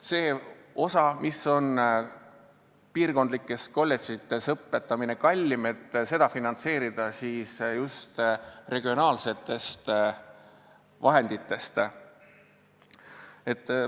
Selle osa, mille võrra on piirkondlikes kolledžites õpetamine kallim, võiks finantseerida just regionaalsetest vahenditest.